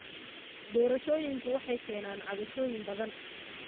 Doorashooyinku waxay keeneen cabashooyin badan.